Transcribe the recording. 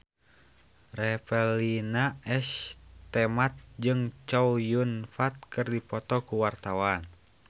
Revalina S. Temat jeung Chow Yun Fat keur dipoto ku wartawan